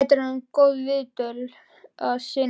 Þetta er orðin góð viðdvöl að sinni.